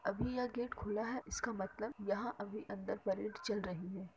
अभी ये गेट खुला है इसका मतलब यहाँ अभी अंदर परेड चल रही है।